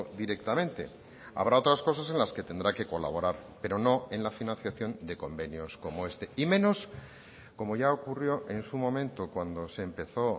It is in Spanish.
directamente habrá otras cosas en las que tendrá que colaborar pero no en la financiación de convenios como este y menos como ya ocurrió en su momento cuando se empezó